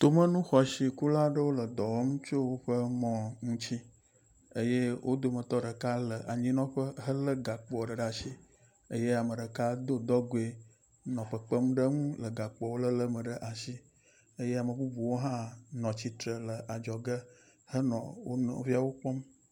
Tomenu xɔasi kula aɖewo le dɔ wɔm tso woƒe mɔ ŋuti eye wo dometɔ ɖeka le anyinɔƒe helé gakpoa ɖe asi eye ame ɖeka do dɔgoe nɔ kpekpem ɖe eŋu le gakpoawo lelé me ɖe asi eye ame bubuwo hã nɔ tsitre le adzɔge henɔ wo nɔviawo kpɔm.